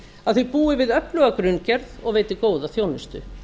að þau búi við öfluga grunngerð og veiti góða þjónustu